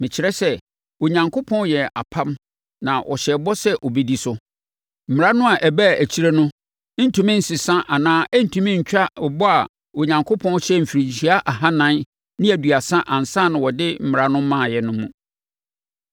Mekyerɛ sɛ: Onyankopɔn yɛɛ apam na ɔhyɛɛ bɔ sɛ ɔbɛdi so. Mmara no a ɛbaa akyire no ntumi nsesa anaa ɛrentumi ntwa bɔ a Onyankopɔn hyɛɛ mfirinhyia ahanan ne aduasa ansa na ɔde Mmara no maaeɛ, no mu.